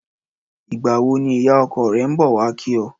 Ìgbà wo ni ìyá o̩ko̩ re̩ ń bò̩ wá kí o̩?